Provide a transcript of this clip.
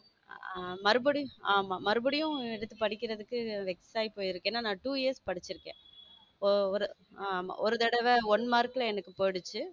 ஆமா, மறுபடியும் ஆமா மறுபடியும் எடுத்து படிக்கிறதுக்கு vex ஆகி போயிருக்கேன் ஏன்னா நான two years படிச்சிருக்கேன், ஒரு ஆமா ஒரு தடவை one mark ல எனக்கு போயிடுச்சு.